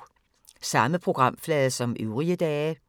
Samme programflade som øvrige dage